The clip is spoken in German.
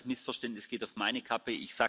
Das Missverständnis geht auf meine Kappe.